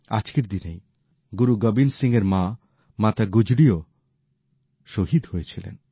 আজকের দিনেই গুরু গোবিন্দ সিং এর মা মাতা গুজরীও শহীদ হয়েছিলেন